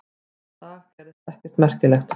Þennan dag gerðist ekkert merkilegt.